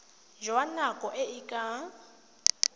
jwa nako e e ka